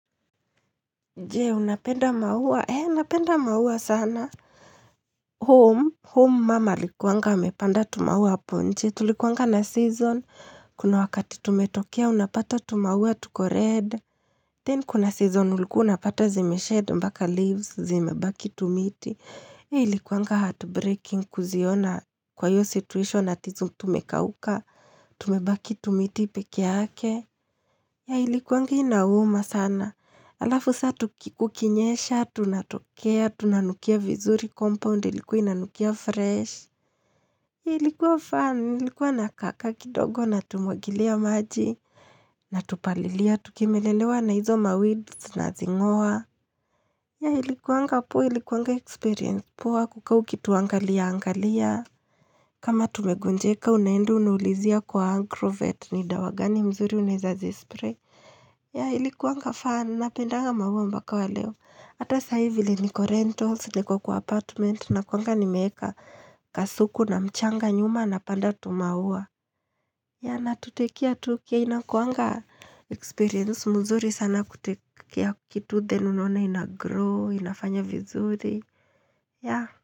Je?, Unapenda maua., napenda maua sana. Home, home mama alikuanga, amepanda tumaua hapo nje. Tulikuanga na season. Kuna wakati tumetokea, unapata tumaua tuko red. Then kuna season, ulikuunapata zime shed mpaka leaves, zime baki tumiti. Ilikuanga heart breaking kuziona kwa iyo situation ati tumekauka. Tume baki tumiti pekeyake., ilikuanga inauma sana. Halafu sasa kukinyesha, tunatokea, tunanukia vizuri, compound ilikuwa ina nukia fresh. Ilikuwa fun, ilikuwa nakakaa kidogo natumwagilia maji. Na tupalilia, tukimelelewa na hizo maweeds na zing'oa. Ya ilikuanga paa ilikuanga experience paa kukaa ukituangalia angalia. Kama tumegonjeka unaenda unaulizia kwa agrovet ni dawa gani nzuri unaweza zispray ya ilikuanga fun, napendanga maua mpaka wa leo. Hata sasahivi niko renthouse, niko kwa apartment na kuanga niweka kasuku na mchanga nyuma na panda tumaua. Yeh na tutekicare tukicare inakuanga experience mzuri sana kutekicare kitu then unaona inagrow, inafanya vizuri. Yeh.